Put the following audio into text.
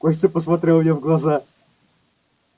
костя посмотрел мне в глаза